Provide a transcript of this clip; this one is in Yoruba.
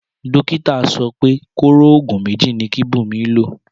Dókítà so pé kóró ògùn méjì ni kí Bunmi lò